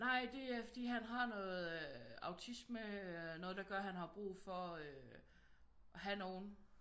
Nej det er fordi han har noget autisme noget der gør han har brug for øh at have nogen